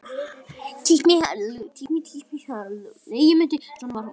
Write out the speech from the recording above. Svona var hann nú.